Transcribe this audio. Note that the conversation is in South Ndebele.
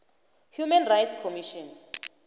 human rights commission